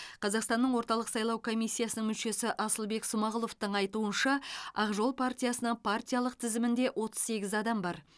қазақстанның орталық сайлау комиссиясының мүшесі асылбек смағұловтың айтуынша ақ жол партиясының партиялық тізімінде отыз сегіз адам бар